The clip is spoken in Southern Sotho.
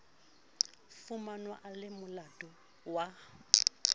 fumanwa a le molato wa